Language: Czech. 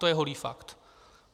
To je holý fakt.